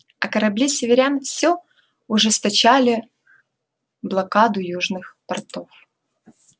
а корабли северян всё ужесточали блокаду южных портов